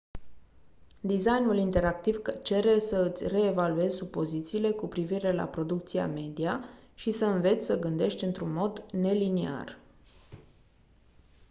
designul interactiv cere să îți reevaluezi supozițiile cu privire la producția media și să înveți să gândești într-un mod neliniar